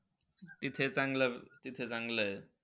तिथे चांगलं, तिथे चांगलं आहे.